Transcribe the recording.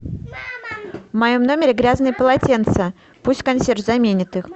в моем номере грязные полотенца пусть консьерж заменит их